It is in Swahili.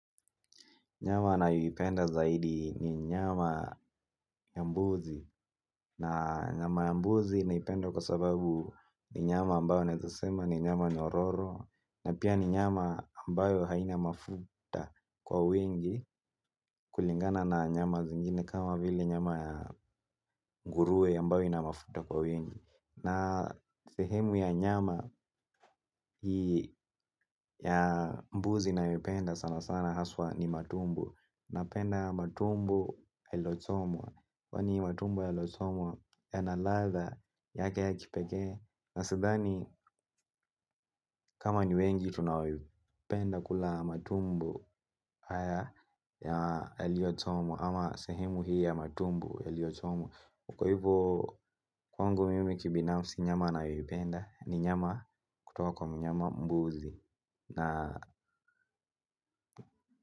Nyama nayoipenda zaidi ni nyama ya mbuzi. Na nyama ya mbuzi naipenda kwa sababu ni nyama ambayo naweza sema ni nyama nyororo. Na pia ni nyama ambayo haina mafuta kwa wingi kulingana na nyama zingine kama vile nyama ya nguruwe ambayo ina mafuta kwa wingi. Na sehemu ya nyama ya mbuzi nayoipenda sana sana haswa ni matumbo. Napenda matumbo yalochomwa. Kwa ni matumbu yalochomwa yana ladha yake ya kipekee na sadhani kama ni wengi tunaoipenda kula matumbo haya yaliyochomwa ama sehemu hii ya matumbo yaliyochomwa kwaivyo kwangu mimi kibinafsi nyama nayoipenda ni nyama kutoka kwa mnyama mbuzi na.